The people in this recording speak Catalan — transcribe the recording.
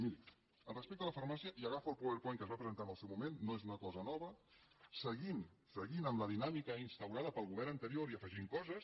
miri respecte a la farmàcia i agafo el powerpoint que es va presentar en el seu moment no és una cosa nova seguint amb la dinàmica instaurada pel govern anterior i afegint hi coses